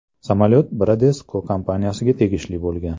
Samolyot Bradesco kompaniyasiga tegishli bo‘lgan.